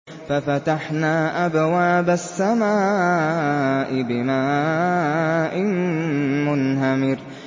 فَفَتَحْنَا أَبْوَابَ السَّمَاءِ بِمَاءٍ مُّنْهَمِرٍ